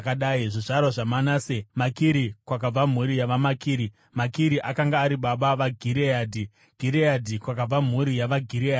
Zvizvarwa zvaManase: Makiri kwakabva mhuri yavaMakiri (Makiri akanga ari baba vaGireadhi); Gireadhi kwakabva mhuri yavaGireadhi.